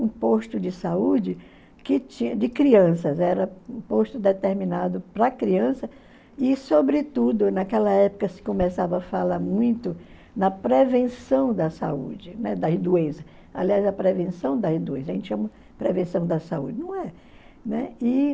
um posto de saúde que tinha de crianças, era um posto determinado para criança e, sobretudo, naquela época se começava a falar muito na prevenção da saúde, né, das doenças, aliás, a prevenção das doenças, a gente chama prevenção da saúde, não é? Né? E...